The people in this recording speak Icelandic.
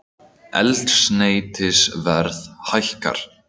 Eldsneytisverð hækkar